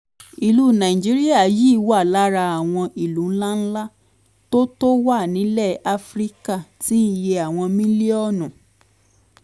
ìlú nàìjíríà yìí wà lára àwọn ìlú ńláńlá tó tó wà nílẹ̀ áfíríkà tí iye àwọn mílíọ̀nù